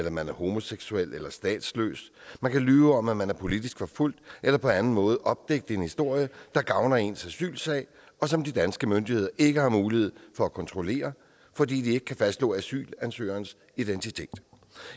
at man er homoseksuel eller statsløs man kan lyve om at man er politisk forfulgt eller på anden måde opdigte en historie der gavner ens asylsag og som de danske myndigheder ikke har mulighed for at kontrollere fordi de ikke kan fastslå asylansøgerens identitet